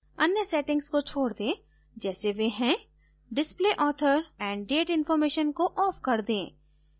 अन्य settings को छोड दें जैसे वे हैं display author and date information को off कर दें